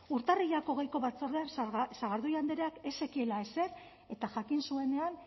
urtarrilak hogeiko batzordean sagardui andreak ez zekiela ezer eta jakin zuenean